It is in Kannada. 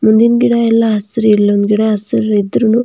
ಮುಂದಿಂದ್ ಗಿಡ ಎಲ್ಲ ಹಸೀರ್ ಇಲ್ಲೊಂದ್ ಗಿಡಾ ಹಸೀರ್ ಇದ್ರೂ ನು --